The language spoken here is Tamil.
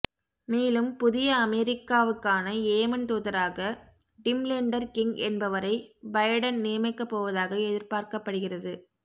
மேலும் புதிய அமெரிக்காவுக்கான ஏமன் தூதராக டிம்லெண்டர் கிங் என்பவரை பைடன் நியமிக்கப்போவதாக எதிர்பார்க்கப்படுகிறது